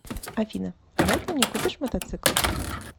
афина давай ты мне купишь мотоцикл